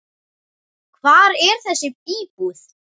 Hvar er þessi íbúð?